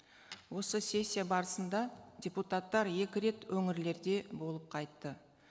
осы сессия барысында депутаттар екі рет өңірлерде болып қайтты